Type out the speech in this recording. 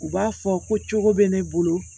U b'a fɔ ko cogo bɛ ne bolo